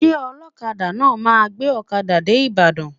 Ṣé ọlọkada náà máa gbé ọkada dé Ibadan?